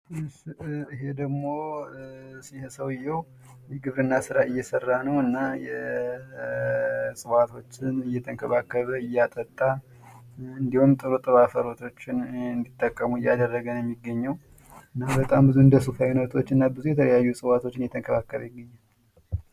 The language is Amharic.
ይሄ ደሞ ይሄ ሰውዬው የግብርና ስራ እየሰራ ነው። እና እፅዋቶችን እየተንከባከበ እያጠጣ እንዲሁም ጥሩ ጥሩ አፈሮችን እንዲጠቀሙ እያደረገ ነው የሚገኘው። እና በጣም ብዙ እንደሱፍ ያሉ እና ብዙ የእፅዋት አይነቶችን እየተንከባከበ ይገኛል።